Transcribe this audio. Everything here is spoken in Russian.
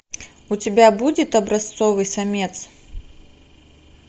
у тебя будет образцовый самец